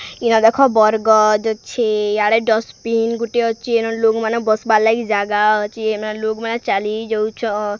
ଏନେ ଦେଖ ବରଗଦ୍ ଅଛି ୟାଡେ ଡଷ୍ଟବିନ୍ ଗୋଟେ ଅଛି ଲୋଗ ମାନେ ବସିବାର ଲାଗି ଜାଗା ଅଛି ଏମାନେ ଲୋଗ୍ ମାନେ ଚାଲିଯାଉଛନ --